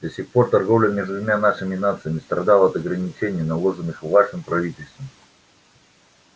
до сих пор торговля между двумя нашими нациями страдала от ограничений наложенных вашим правительством